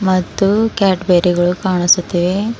ಮತ್ತು cat berry ಗಳು ಕಾಣಿಸುತ್ತಿವೆ.